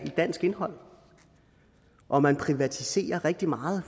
i dansk indhold og man privatiserer rigtig meget